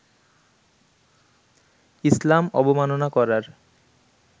ইসলাম অবমানান করার